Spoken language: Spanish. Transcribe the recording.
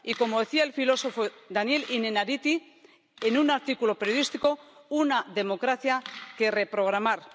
Y, como decía el filósofo Daniel Innerarity en un artículo periodístico, una democracia que reprogramar.